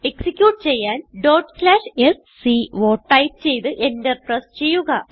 execute ചെയ്യാൻ sco type ചെയ്ത് Enter press ചെയ്യുക